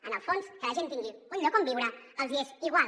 en el fons que la gent tingui un lloc on viure els hi és igual